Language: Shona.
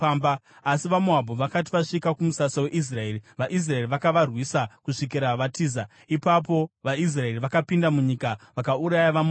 Asi vaMoabhu vakati vasvika kumusasa weIsraeri, vaIsraeri vakavarwisa kusvikira vatiza. Ipapo vaIsraeri vakapinda munyika vakauraya vaMoabhu.